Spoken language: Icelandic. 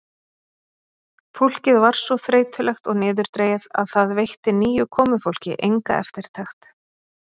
Fólkið var svo þreytulegt og niðurdregið að það veitti nýju komufólki enga eftirtekt.